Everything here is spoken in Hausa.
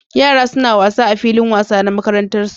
Yara suna wasa a filin wasa na makarantar su